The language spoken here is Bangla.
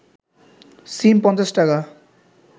সিম ৫০ টাকা